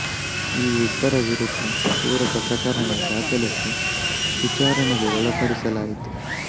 ಈ ಇಬ್ಬರ ವಿರುದ್ಧ ಪೂರಕ ಪ್ರಕರಣ ದಾಖಲಿಸಿ ವಿಚಾರಣೆಗೆ ಒಳಪಡಿಸಲಾಯಿತು